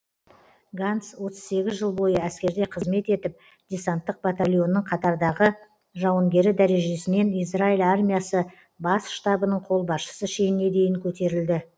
ганц отыз сегіз жыл бойы әскерде қызмет етіп десанттық батальонның қатардағы жауынгері дәрежесінен израиль армиясы бас штабының қолбасшысы шеніне дейін көтерілді